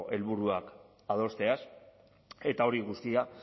helburuak adosteaz eta hori guztia